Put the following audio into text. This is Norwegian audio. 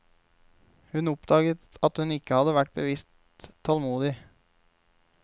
Hun oppdaget at hun ikke hadde vært bevisst tålmodig.